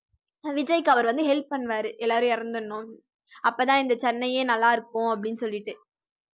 விஜய்க்கு அவரு வந்து help பண்ணுவாரு எல்லாரும் இறந்திடனும் அப்பதான் இந்த சென்னையே நல்லா இருக்கும் அப்படின்னு சொல்லிட்டு